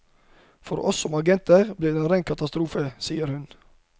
For oss som agenter blir det en katastrofe, sier hun.